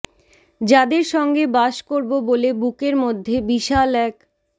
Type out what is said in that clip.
যাদের সঙ্গে বাস করবো বলে বুকের মধ্যে বিশাল এক